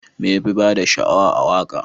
Me yafi bada sha'awa a waka?